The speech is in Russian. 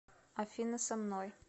афина со мной